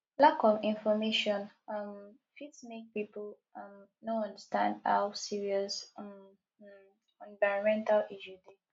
lack of information um fit make pipo um no understand how serious um um environmental issue dey